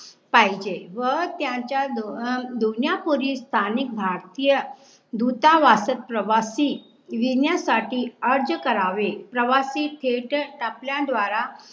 पाहीजे. व त्यांच्या दोन्हा दोन्यांपुढील स्थानिक भारतीय दूतावाचक प्रवाशी येण्यासाठी अर्ज करावे. प्रवाशी थेट टपल्या द्वारा